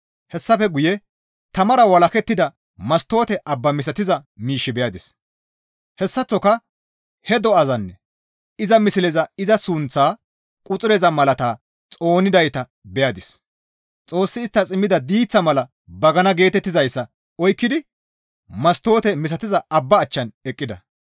Hessafe guye tamara walakettida mastoote abba misatiza miish beyadis; hessaththoka he do7azanne iza misleza iza sunththaa quxureza malataa xoonidayta beyadis; Xoossi isttas immida diiththa mala bagana geetettizayssa oykkidi mastoote misatiza abba achchan eqqida.